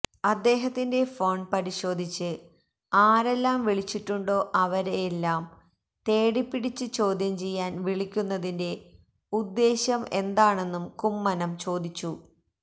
അദ്ദേഹത്തിന്റെ ഫോണ് പരിശോധിച്ച് ആരെല്ലാം വിളിച്ചിട്ടുണ്ടോ അവരെയെല്ലാം തേടിപ്പിടിച്ച് ചോദ്യം ചെയ്യാന് വിളിക്കുന്നതിന്റെ ഉദ്ദേശം എന്താണെന്നും കുമ്മനം ചോദിച്ചു